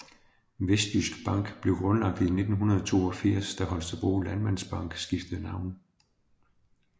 Vestjysk Bank blev grundlagt i 1982 da Holstebro Landmandsbank skiftede navn